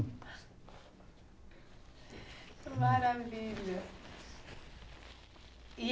Maravilha.